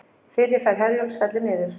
Fyrri ferð Herjólfs fellur niður